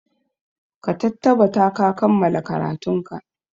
Ka tattabata ka kammala karatunka!